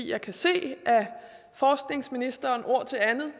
jeg kan se at forskningsministeren ord til andet